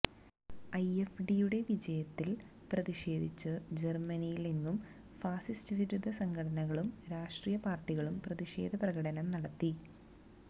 എഎഫ്ഡിയുടെ വിജയത്തിൽ പ്രതിഷേധിച്ച് ജർമനിയിലെങ്ങും ഫാസിസ്റ്റ് വിരുദ്ധ സംഘടനകളും രാഷ്ട്രീയ പാർട്ടികളും പ്രതിഷേധ പ്രകടനം നടത്തി